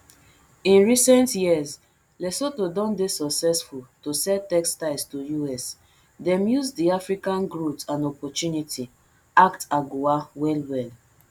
in recent years lesotho don dey successful to sell textiles to us dem use di african growth and opportunity act agoa wellwell